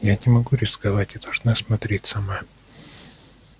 я не могу рисковать и должна смотреть сама